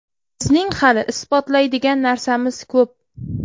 Bizning hali isbotlaydigan narsamiz ko‘p.